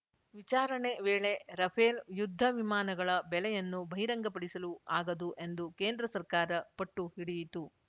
ವಿಚಾರಣೆ ವೇಳೆ ರಫೇಲ್‌ ಯುದ್ಧ ವಿಮಾನಗಳ ಬೆಲೆಯನ್ನು ಬಹಿರಂಗಪಡಿಸಲು ಆಗದು ಎಂದು ಕೇಂದ್ರ ಸರ್ಕಾರ ಪಟ್ಟು ಹಿಡಿಯಿತು